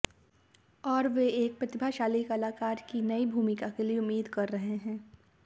और वे एक प्रतिभाशाली कलाकार की एक नई भूमिका के लिए उम्मीद कर रहे हैं